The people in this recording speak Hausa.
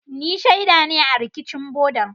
Ni shaida ne a rikicin bodan.